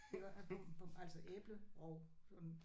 Iggå på på altså æblerov sådan